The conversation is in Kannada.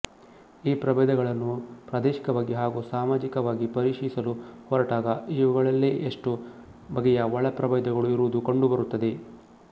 ಈ ಪ್ರಭೇದಗಳನ್ನು ಪ್ರಾದೇಶಿಕವಾಗಿ ಹಾಗೂ ಸಾಮಾಜಿಕವಾಗಿ ಪರಿಶೀಲಿಸಲು ಹೊರಟಾಗ ಇವುಗಳಲ್ಲೇ ಎಷ್ಟೋ ಬಗೆಯ ಒಳ ಪ್ರಭೇದಗಳು ಇರುವುದು ಕಂಡುಬರುತ್ತದೆ